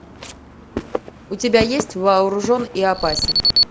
у тебя есть вооружен и опасен